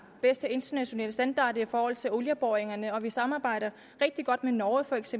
bedste internationale standard i forhold til olieboringerne og vi samarbejder rigtig godt med norge feks